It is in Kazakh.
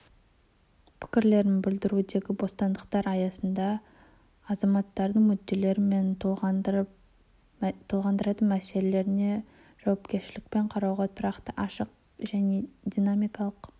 пікірлерін білдірудегі бостандықтар аясында азаматтарының мүдделері мен толғандыратын мәселелеріне жауапкершілікпен қарау тұрақты ашық және динамикалық